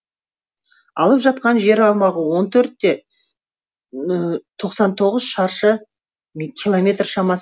алып жатқан жер аумағы он төрт те тоқсан тоғыз шаршы километр шамасы